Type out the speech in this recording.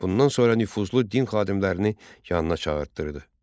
Bundan sonra nüfuzlu din xadimlərini yanına çağırdırdı.